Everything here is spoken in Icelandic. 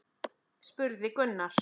spurði Gunnar.